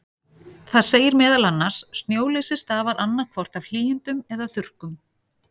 Það segir meðal annars: Snjóleysi stafar annað hvort af hlýindum eða þurrkum.